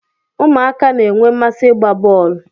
Ụmụaka na-enwe mmasị ịgba bọl